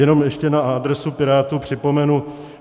Jenom ještě na adresu Pirátů připomenu.